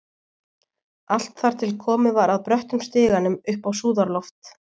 Allt þar til komið var að bröttum stiganum upp á súðarloft.